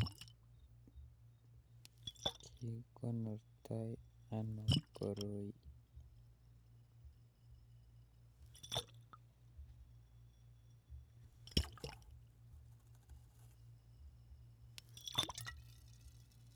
Kikonorto anoo koroi